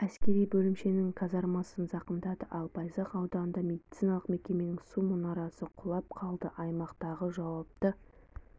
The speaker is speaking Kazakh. әскери бөлімшенің казармасын зақымдады ал байзақ ауданында медициналық мекеменің су мұнарасы құлап қалды аймақтағы жауапты